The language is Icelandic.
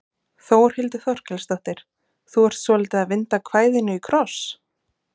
Þórhildur Þorkelsdóttir: Þú ert svolítið að vinda kvæðinu í kross?